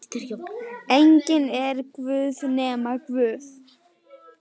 Enginn er guð nema Guð.